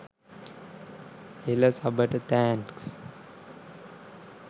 එළ සබට තෑන්ක්ස්.